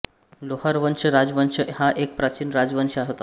लोहार वंश राजवंश हा एक प्राचीन राजवंश होता